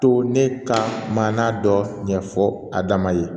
To ne ka maana dɔ ɲɛ fɔ a dama ye